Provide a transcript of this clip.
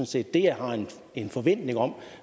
set det jeg har en forventning om